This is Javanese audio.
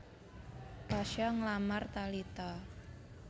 Pasha nglamar Talita